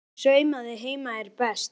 Hún saumaði heima er best.